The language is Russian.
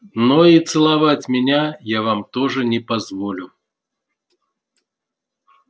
но и целовать меня я вам тоже не позволю